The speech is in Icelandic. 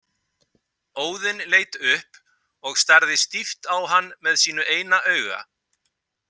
Óðinn leit upp og starði stíft á hann með sínu eina auga.